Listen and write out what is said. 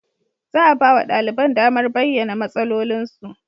Za a ba wa ɗaliban damar bayyana matsalolinsu.